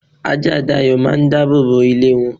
ajá Dayo máà ń dábòbò ilé won.